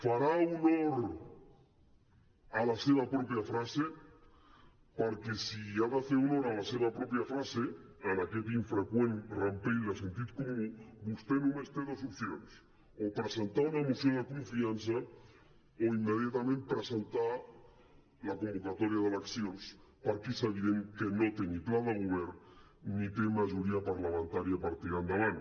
farà honor a la seva pròpia frase perquè si ha de fer honor a la seva pròpia frase en aquest infreqüent rampell de sentit comú vostè només té dos opcions o presentar una moció de confiança o immediatament presentar la convocatòria d’eleccions perquè és evident que no té ni pla de govern ni té majoria parlamentària per tirar endavant